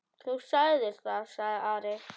Þú sagðir það, sagði Ari.